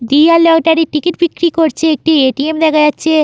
দিয়া lottery ticket বিক্রি করছে একটি এ.টি.এম. দেখা যাচ্ছে--